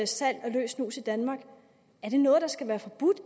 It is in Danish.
salg af løs snus i danmark er det noget der skal være forbudt